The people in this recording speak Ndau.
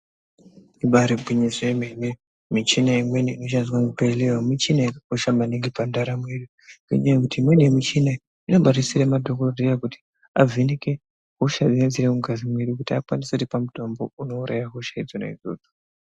Ibari gwinyiso remene michina imweni inoshandiswa muzvibhedhlera michina yakakosha maningi muzvibhedhlera ngenyaya yekuti mune michini inodetsera madhokodheya avheneke kusenza mungazi medu asati mitombo inouraya.